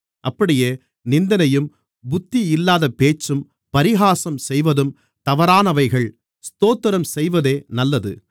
அப்படியே நிந்தனையும் புத்தியில்லாத பேச்சும் பரிகாசம் செய்வதும் தவறானவைகள் ஸ்தோத்திரம் செய்வதே நல்லது